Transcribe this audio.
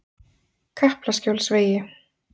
Kaplaskjólsvegi